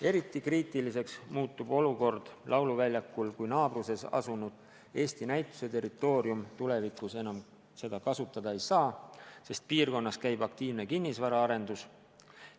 Eriti kriitiliseks muutub olukord lauluväljakul, kui naabruses asuvat Eesti Näituste territooriumi enam tulevikus kasutada ei saa, sest piirkonnas käib aktiivne kinnisvaraarendus.